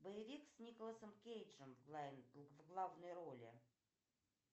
боевик с николасом кейджем в главной роли